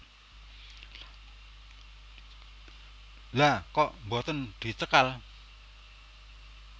Lha kok boten dicekal